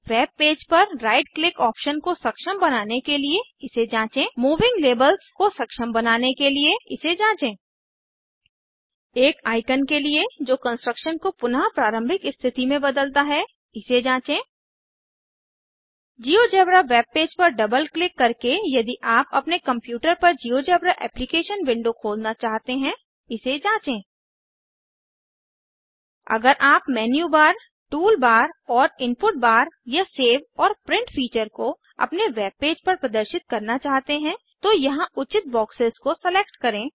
webpage पर right click option को सक्षम बनाने के लिए इसे जाँचें मूविंग लेबल्स को सक्षम बनाने के लिए इसे जाँचे एक आइकन के लिए जो कंस्ट्रक्शन को पुनः प्रारंम्भिक स्थिति में बदलता है इसे जाँचें जिओजेब्रा वेबपेज पर डबल क्लिक करके यदि आप अपने कंप्यूटर पर जिओजेब्रा एप्लीकेशन विंडो खोलना चाहते हैं इसे जाँचें अगर आप मेन्यू बार टूल बार और इनपुट बार या सेव और प्रिंट फीचर्स को अपने वेबपेज पर प्रदर्शित करना चाहते हैं तो यहाँ उचित बॉक्सेस को सेलेक्ट करें